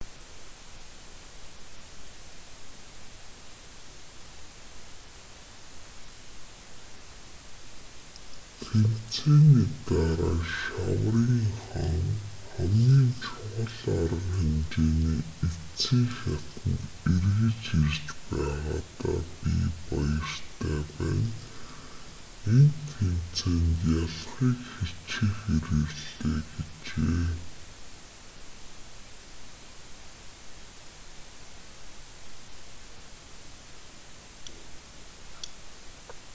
тэмцээний дараа шаврын хаан хамгийн чухал арга хэмжээний эцсийн шатанд эргэж ирж байгаадаа би баяртай байна энэ тэмцээнд ялахыг хичээхээр ирлээ гэжээ